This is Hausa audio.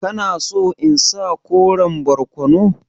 Kana so in sa koren barkono?